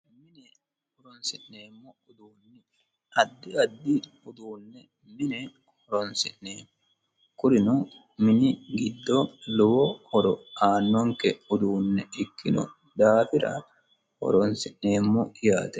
Menne horonisinemmo uduune addi addi udune Minne horonisinemmo kunnino mini giddo lowo horo aanonikke udunenne ikkino daafira mine horonisinemmo yaatte